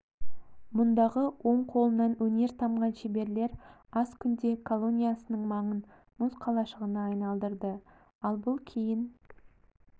мұндағы он қолынан өнер тамған шеберлер аз күнде колониясының маңын мұз қалашығына айналдырды ал бұл кейін